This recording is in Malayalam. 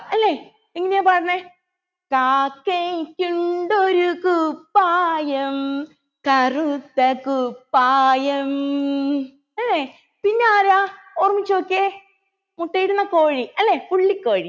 അല്ലെ എങ്ങനെയാ പാടുന്നെ കാക്കയ്ക്കുണ്ടൊരു കുപ്പായം കറുത്ത കുപ്പായം അല്ലെ പിന്നെ ആരാ ഓർമ്മിച്ച് നോക്കിയെ മുട്ടയിടുന്ന കോഴി അല്ലെ പുള്ളി കോഴി